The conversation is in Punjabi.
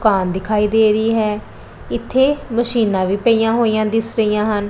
ਕਾਰ ਦਿਖਾਈ ਦੇ ਰਹੀ ਹੈ ਇੱਥੇ ਮਸ਼ੀਨਾਂ ਵੀ ਪਈਆਂ ਹੋਈਆਂ ਦਿੱਸ ਰਹੀਆਂ ਪਈਆਂ ਹਨ।